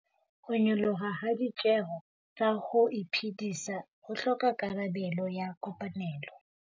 Ho nyoloha ha ditjeho tsa ho iphedisa ho hloka karabelo ya kopanelo